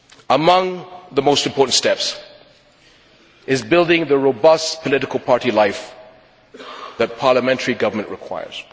Among the most important steps is building the robust political party life that parliamentary government requires.